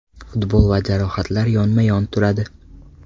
Futbol va jarohatlar yonma-yon turadi.